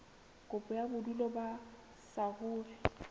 kopo ya bodulo ba saruri